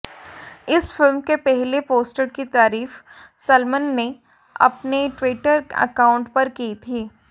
इस फिल्म के पहले पोस्टर की तारीफ सलमान ने अपने ट्विटर अकाउंट पर की थी